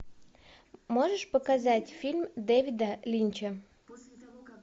можешь показать фильм дэвида линча